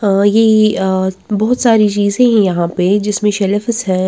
अ ये अ बहुत सारी चीजें हैं यहाँ पे जिसमें शेलफस हैं।